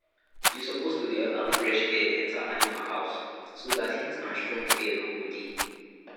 you suppose to dey allow fresh air enter animal house so dat heat and strong air no go dey